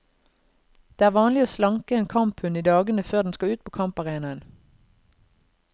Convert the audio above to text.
Det er vanlig å slanke en kamphund i dagene før den skal ut på kamparenaen.